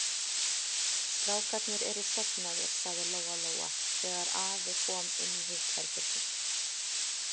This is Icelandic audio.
Strákarnir eru sofnaðir, sagði Lóa-Lóa þegar afi kom inn í hitt herbergið.